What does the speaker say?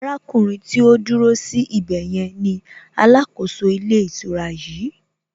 Arákùnrin tí ó dúró sí ibè yẹn ni alákòóso ilé ìtura yìí